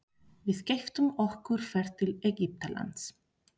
Við keyptum okkur ferð til Egyptalands.